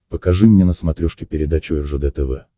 покажи мне на смотрешке передачу ржд тв